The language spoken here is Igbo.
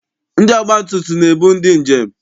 Ndị ọgbatumtum na-ebu ndị njem.